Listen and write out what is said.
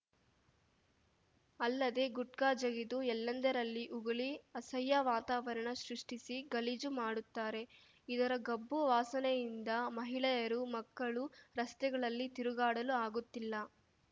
ಅಲ್ಲದೆ ಗುಟ್ಕಾ ಜಗಿದು ಎಲ್ಲೆಂದರಲ್ಲಿ ಉಗುಳಿ ಅಸಹ್ಯ ವಾತವಾರಣ ಸೃಷ್ಟಿಸಿ ಗಲೀಜು ಮಾಡುತ್ತಾರೆ ಇದರ ಗಬ್ಬು ವಾಸನೆಯಿಂದ ಮಹಿಳೆಯರು ಮಕ್ಕಳು ರಸ್ತೆಗಳಲ್ಲಿ ತಿರುಗಾಡಲು ಆಗುತ್ತಿಲ್ಲ